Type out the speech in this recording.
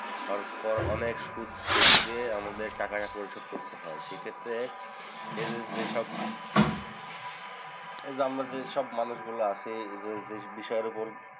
আরো কর, অনেক সুদ বেশি দিয়ে আমাদের টাকাটা পরিশোধ করতে হয়। সেক্ষেত্রে এদের যেসব এ যে আমরা যেসব মানুষগুলা আছি, যেযে বিষয়ের উপর